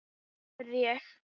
spurði ég.